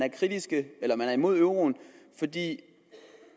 er imod euroen fordi